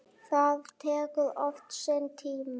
Það tekur oft sinn tíma.